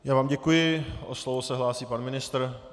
Já vám děkuji, o slovo se hlásí pan ministr.